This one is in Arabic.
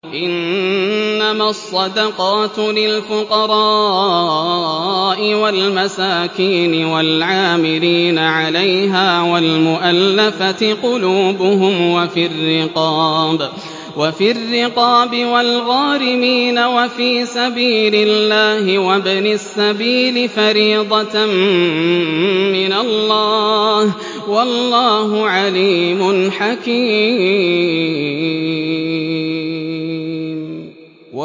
۞ إِنَّمَا الصَّدَقَاتُ لِلْفُقَرَاءِ وَالْمَسَاكِينِ وَالْعَامِلِينَ عَلَيْهَا وَالْمُؤَلَّفَةِ قُلُوبُهُمْ وَفِي الرِّقَابِ وَالْغَارِمِينَ وَفِي سَبِيلِ اللَّهِ وَابْنِ السَّبِيلِ ۖ فَرِيضَةً مِّنَ اللَّهِ ۗ وَاللَّهُ عَلِيمٌ حَكِيمٌ